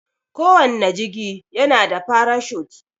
Kowanne jigi yana da farashut.